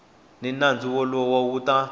ni nandzu wolowo u ta